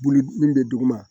Bulu min bɛ dugu ma